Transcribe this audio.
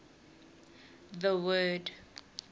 the word